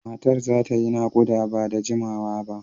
Matar za ta yi nakuda ba da jimawa ba.